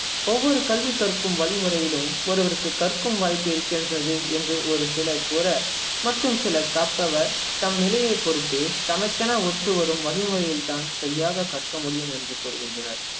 ஒவ்வொரு கல்வி கற்கும் வழிமுறையிலும் ஒருவருக்கும் கற்கும் வாய்ப்பு இருக்கின்றது என்று ஒரு சிலர் கூற மற்றும் சிலர் கற்பவர் தம் நிலையைப் பொறுத்து தமக்கென ஒத்து வரும் வழிமுறையைத்தான் சரியாக கற்க முடியும் என்று கூறுகின்றனர்